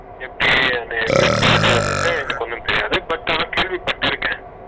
set உ head ன்ட்டு என்னக்கு ஒன்னும் தெரியாது but ஆனா கேள்விபட்டுருக்கேன்